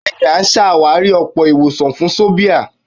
Bẹ́ẹ̀ ni, à á sàwárí ọ̀pọ̀ ìwọ̀sàn fún sòbìà.